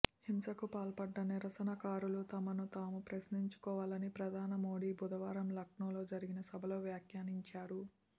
హింసకు పాల్పడ్డ నిరసనకారులు తమను తాము ప్రశ్నించుకోవాలని ప్రధాని మోదీ బుధవారం లక్నోలో జరిగిన సభలో వ్యాఖ్యానించారు